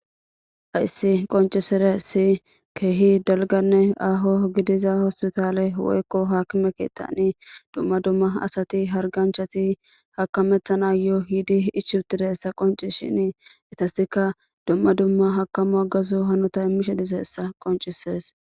Hayssi qoncisire si keehi dalganne aho gidiza hospitaale woykko hakime keettani dumma dumma asati harganchati hakamettana yoo yiidi ichutideessa qonci shini itasika dumma dumma hakamu agazu hanota immishe diseessa qoncisees